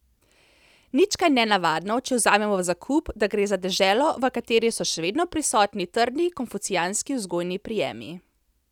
Nič kaj nenavadno, če vzamemo v zakup, da gre za deželo v kateri so še vedno prisotne trdni konfucijanski vzgojni prijemi.